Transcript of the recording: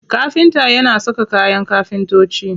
Kafinta yana saka kayan kafintoci.